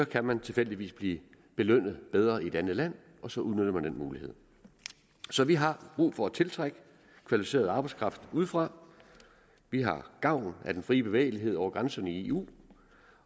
kan man tilfældigvis blive belønnet bedre i et andet land og så udnytter man den mulighed så vi har brug for at tiltrække kvalificeret arbejdskraft udefra vi har gavn af den frie bevægelighed over grænserne i eu